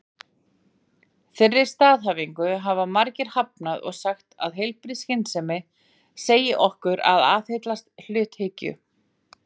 Þeirri staðhæfingu hafa margir hafnað og sagt að heilbrigð skynsemi segi okkur að aðhyllast hluthyggju.